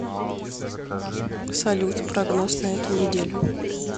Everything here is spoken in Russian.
салют прогноз на эту неделю